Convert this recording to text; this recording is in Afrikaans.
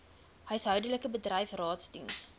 huishoudelik bedryf raadsdiens